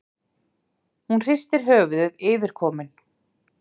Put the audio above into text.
Hún hristir höfuðið yfirkomin.